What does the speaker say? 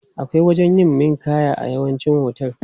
Akwai wajen yin ninƙaya a yawancin hotel.